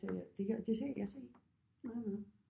Sagde jeg det her det sagde jeg sagde ikke